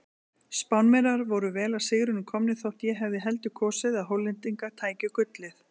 Spánverjar voru vel að sigrinum komnir þótt ég hefði heldur kosið að Hollendingar tækju gullið.